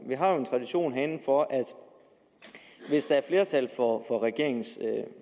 vi har en tradition herinde for at hvis der er flertal for regeringens